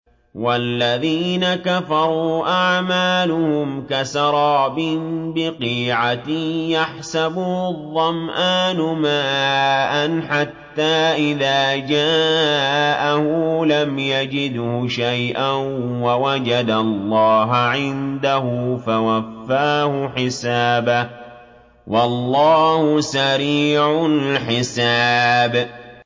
وَالَّذِينَ كَفَرُوا أَعْمَالُهُمْ كَسَرَابٍ بِقِيعَةٍ يَحْسَبُهُ الظَّمْآنُ مَاءً حَتَّىٰ إِذَا جَاءَهُ لَمْ يَجِدْهُ شَيْئًا وَوَجَدَ اللَّهَ عِندَهُ فَوَفَّاهُ حِسَابَهُ ۗ وَاللَّهُ سَرِيعُ الْحِسَابِ